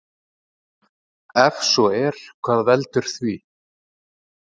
Ef svo er hvað veldur því?